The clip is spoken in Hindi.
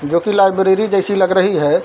जो की लाइब्रेरी जैसी लग रही है।